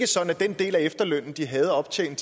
sådan at den del af efterlønnen de havde optjent